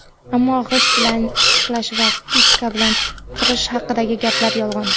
Ammo g‘isht bilan ishqalash va piska bilan qirish haqidagi gaplar – yolg‘on.